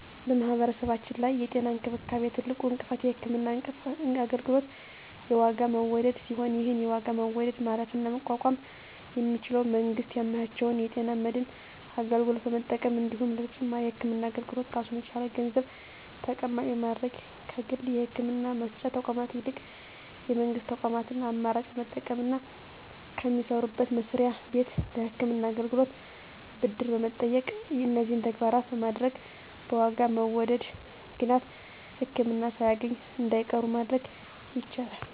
በማህበረሰባችን ላይ የጤና እንክብካቤ ትልቁ እንቅፋት የህክምና አገልግሎት የዋጋ መወደድ ሲሆን ይህን የዋጋ መወደድ ማለፍና መቋቋም የሚቻለው መንግስት ያመቻቸውን የጤና መድን አገልግሎት በመጠቀም እንዲሁም ለተጨማሪ የህክምና አገልግሎት ራሱን የቻለ ገንዘብ ተቀማጭ በማድረግ ከግል የህክምና መስጫ ተቋማት ይልቅ የመንግስት ተቋማትን አማራጭ በመጠቀምና ከሚሰሩበት መስሪያ ቤት ለህክምና አገልግሎት ብድር በመጠየቅ እነዚህን ተግባራት በማድረግ በዋጋ መወደድ ምክንያት ህክምና ሳያገኙ እንዳይቀሩ ማድረግ ይቻላል።